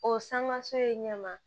O sanŋa so ye ɲɛma